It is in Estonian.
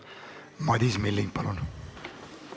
Madis Milling, palun!